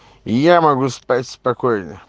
я могу спать спокойно